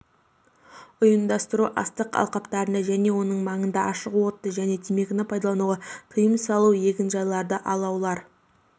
ұйымдастыру астық алқаптарында және оның маңында ашық отты және темекіні пайдалануға тиым салу егінжайларда алаулар